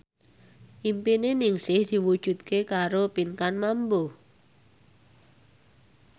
impine Ningsih diwujudke karo Pinkan Mambo